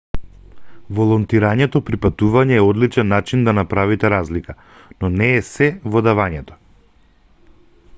волонтирањето при патување е одличен начин да направите разлика но не е сѐ во давањето